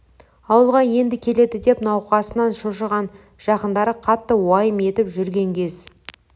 ауылға енді келеді деп науқасынан шошыған жақындары қатты уайым етіп жүрген кез